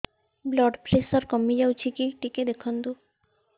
blood pressure କମି ଯାଉଛି କି ଟିକେ ଦେଖନ୍ତୁ